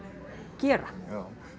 gera já